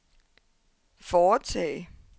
foretage